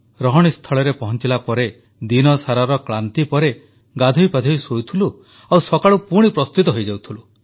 ରହଣୀସ୍ଥଳରେ ପହଂଚିଲା ପରେ ଦିନସାରାର କ୍ଳାନ୍ତି ପରେ ଗାଧୋଇ ପାଧୋଇ ଶୋଉଥିଲୁ ଆଉ ସକାଳୁ ପୁଣି ପ୍ରସ୍ତୁତ ହୋଇଯାଉଥିଲୁ